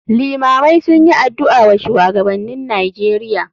Iimamai sunyi adu'a wa shuwagabannin nijeria.